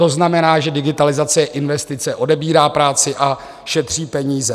To znamená, že digitalizace je investice, odebírá práci a šetří peníze.